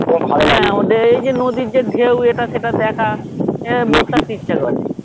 এই যে নদীর যে ঢেউ এটা সেটা দেখা বসে থাকতে ইচ্ছা করে